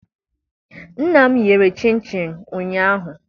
Nna m yere chịnchịn ụnyaahụ.